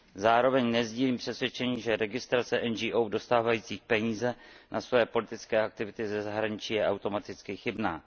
Zároveň nesdílím přesvědčení, že registrace NGO dostávající peníze na svoje politické aktivity ze zahraničí je automaticky chybná.